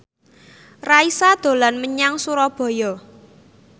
Raisa dolan menyang Surabaya